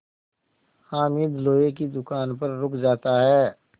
हामिद लोहे की दुकान पर रुक जाता है